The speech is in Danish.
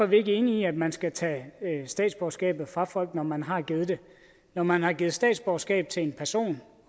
vi ikke enige i at man skal tage statsborgerskabet fra folk når man har givet det når man har givet statsborgerskab til en person